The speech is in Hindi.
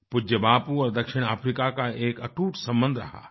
पूज्य बापू और दक्षिण अफ्रीका का एक अटूट सम्बन्ध रहा है